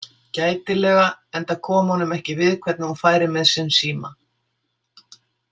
Gætilega, enda kom honum ekki við hvernig hún færi með sinn síma.